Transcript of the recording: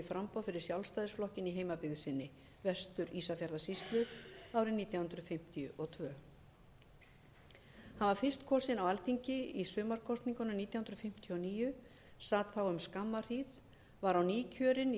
framboð fyrir sjálfstæðisflokkinn í heimabyggð sinni vestur ísafjarðarsýslu árið nítján hundruð fimmtíu og tvö hann var fyrst kosinn á alþingi í sumarkosningunum nítján hundruð fimmtíu og níu sat þá um skamma hríð var á ný kjörinn í vestfjarðakjördæmi